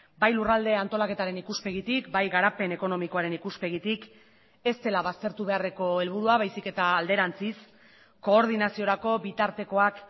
bai lurralde antolaketaren ikuspegitik bai garapen ekonomikoaren ikuspegitik ez dela baztertu beharreko helburua baizik eta alderantziz koordinaziorako bitartekoak